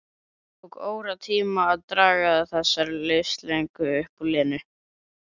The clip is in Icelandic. Tók óratíma að draga þessar upplýsingar upp úr Lenu.